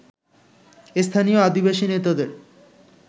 স্থানীয় আদিবাসী নেতাদের